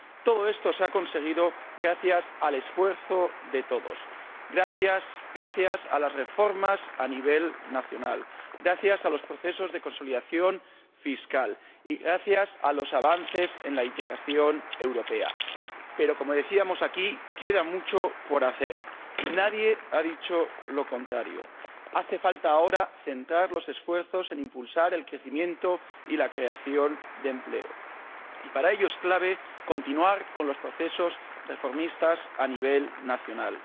Todo esto se ha conseguido gracias al esfuerzo de todos, gracias a las reformas a nivel nacional, gracias a los procesos de consolidación fiscal y gracias a los avances en la integración europea. No obstante, como decíamos aquí, queda mucho por hacer. Nadie ha dicho lo contrario. Hace falta ahora centrar los esfuerzos en impulsar el crecimiento y la creación de empleo, y para ello es clave continuar con los procesos reformistas a nivel nacional